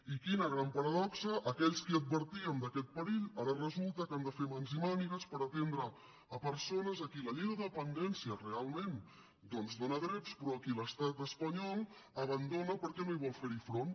i quina gran paradoxa aquells que advertíem d’aquest perill ara resulta que hem de fer mans i mànigues per atendre persones a qui la llei de dependència realment doncs dóna drets però a qui l’estat espanyol abandona perquè no hi vol fer front